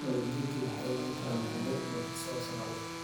Waalidiintu waxay ogaan karaan xuquuqdooda ku saabsan carruurta.